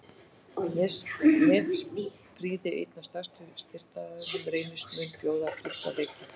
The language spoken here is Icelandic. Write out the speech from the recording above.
Nesprýði einn af stærstu styrktaraðilum Reynis mun bjóða frítt á leikinn.